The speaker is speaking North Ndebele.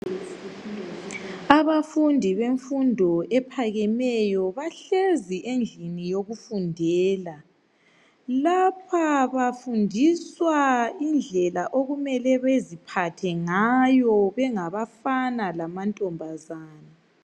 Abafundi bemfundo ephakemeyo bahlezi endlini yokufundela. Lapha bafundiswa indlela okumele baziphathe ngayo bengabafana lamantombazana.